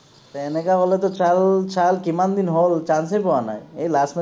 তে এনেকে হলেতো ছেহেল ছেহেল কিমান দিন হল chance এই পোৱা নাই, এই last